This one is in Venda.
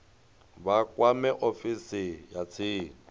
vha kwame ofisi ya tsini